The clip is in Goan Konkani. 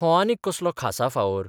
हो आनीक कसलो खासा फावोर?